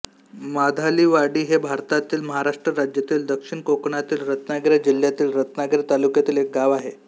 मधालीवाडी हे भारतातील महाराष्ट्र राज्यातील दक्षिण कोकणातील रत्नागिरी जिल्ह्यातील रत्नागिरी तालुक्यातील एक गाव आहे